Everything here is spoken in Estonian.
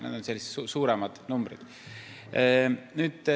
Need on sellised suuremad numbrid.